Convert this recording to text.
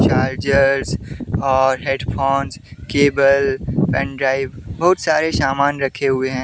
Charger और headphones cable pen drive बहुत सारे सामान रखे हुए हैं।